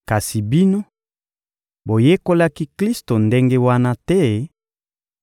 Kasi bino boyekolaki Klisto ndenge wana te,